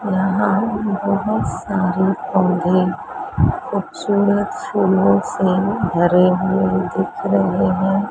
यहां बहोत सारे पौधे खूबसूरत फूलों से भरे हुए दिख रहे हैं।